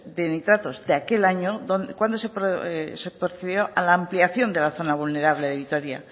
de nitratos que aquel año cuando se procedió a la aplicación de la zona vulnerable de vitoria